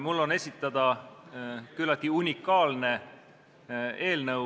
Mul on esitada küllaltki unikaalne eelnõu.